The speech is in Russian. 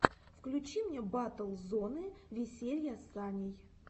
включи мне батл зоны веселья с саней